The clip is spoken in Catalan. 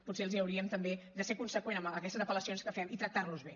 potser hauríem també de ser conseqüents amb aquestes apel·lacions que fem i tractar los bé